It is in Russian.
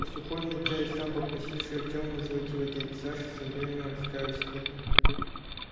а сухой вначале сам попросивший артёма называть его дядей сашей со временем раскаялся в этом